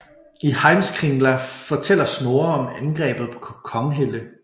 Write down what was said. I Heimskringla fortæller Snorre om angrebet på Konghelle